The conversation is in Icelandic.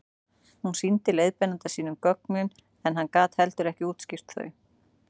hún sýndi leiðbeinanda sínum gögnin en hann gat heldur ekki útskýrt þau